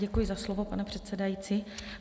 Děkuji za slovo, pane předsedající.